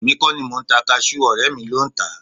Èmi kọ́ ni mò ń ta kasú ọ̀rẹ́ mi ló ń tà á